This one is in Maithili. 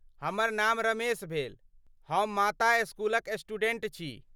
हमर नाम रमेश भेल, हम माता स्कूलक स्टूडेंट छी।